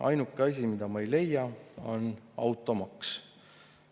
Ainuke asi, mida ma ei leia, on automaks.